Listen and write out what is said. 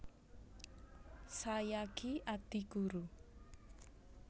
Sayagi Adi Guru